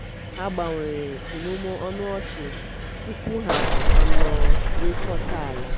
ha gbanwere imurimu ọnụ ọchị tupu ha anọrịkọta ala.